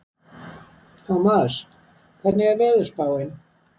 Tómas, hvernig er veðurspáin?